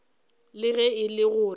le ge e le gore